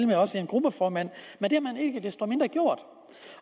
med også en gruppeformand men det har man ikke desto mindre gjort